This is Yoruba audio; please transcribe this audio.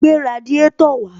Gbé radiátò wàá